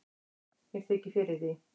mér þykir fyrir því